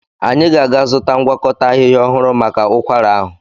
Anyị ga-azụta ngwakọta ahịhịa ọhụrụ maka ụkwara ahụ.